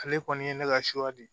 Ale kɔni ye ne ka suwa de ye